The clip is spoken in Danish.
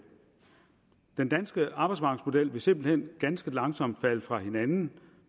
den danske arbejdsmarkedsmodel vil simpelt hen ganske langsomt falde fra hinanden